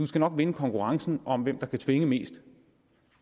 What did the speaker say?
skal nok vinde konkurrencen om hvem der kan tvinge mest